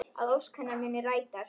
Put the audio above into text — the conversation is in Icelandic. Að ósk hennar muni rætast.